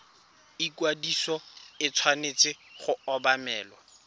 ikwadiso e tshwanetse go obamelwa